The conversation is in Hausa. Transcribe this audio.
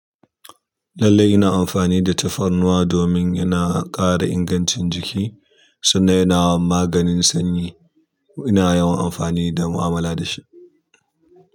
Lallai ina amfani da tafarnuwa domin yana ƙara ingancin jiki sannan ina maganin sanyi. Ina yawan amfani da mu'amala da shi.